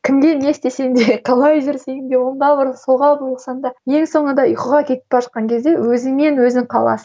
кімге не істесең де қалай жүрсең де оңға бұрыл солға бұрылсаң да ең соңында ұйқыға кетіп бара жатқан кезде өзіңмен өзің қаласың